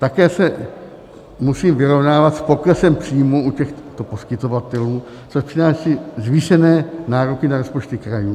Také se musejí vyrovnávat s poklesem příjmů u těchto poskytovatelů, což přináší zvýšené nároky na rozpočty krajů.